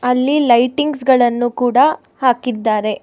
ಅಲ್ಲಿ ಲೈಟಿಂಗ್ಸ್ ಗಳನ್ನು ಕೂಡ ಹಾಕಿದ್ದಾರೆ.